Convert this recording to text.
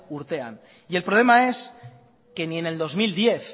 urtean y el problema es que ni en el dos mil diez